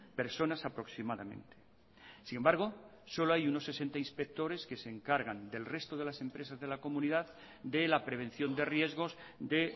personas aproximadamente sin embargo solo hay unos sesenta inspectores que se encargan del resto de las empresas de la comunidad de la prevención de riesgos de